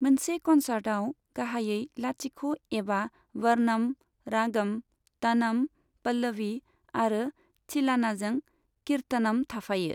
मोनसे कन्सार्टआव गाहायै लाथिख' एबा वर्नम, रागम, तनम, पल्लवी आरो थिलानाजों कीर्थनम थाफायो।